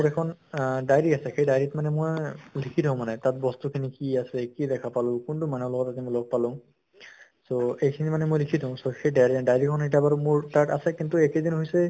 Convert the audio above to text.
এখন আহ diary আছে সেই dairy ত মানে মই লিখি থও মানে তাত বস্তুখিনি কি আছে, কি দেখা পালো, কোনটো মানুহৰ লগত আজি মই লগ পালো so এইখিনি মানে মই লিখি থও । so সেই dairy dairy খন এতিয়া বাৰু মোৰ তাত আছে কিন্তু এই কেইদিন হৈছে